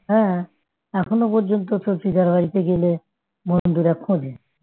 হ্যাঁ এখনো পর্যন্ত তোর দিদা বাড়িতে গেলে বন্ধুরা খোঁজে